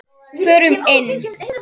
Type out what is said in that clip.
Förum inn.